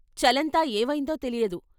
చలంతా ఏవైందో తెలియదు.